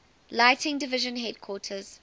lighting division headquarters